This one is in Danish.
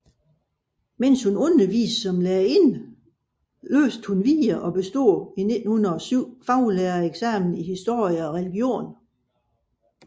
Imens hun underviste som lærerinde læste hun videre og bestod i 1907 faglærereksamen i historie og religion